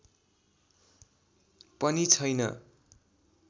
पनि छैन